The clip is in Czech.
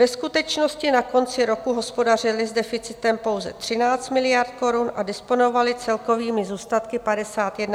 Ve skutečnosti na konci roku hospodařily s deficitem pouze 13 miliard korun a disponovaly celkovými zůstatky 51,8 miliardy korun.